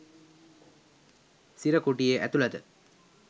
සිර කුටියේ ඇතුළත